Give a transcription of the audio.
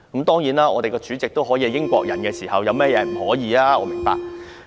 當立法會主席也可以是英國人，有甚麼不可以？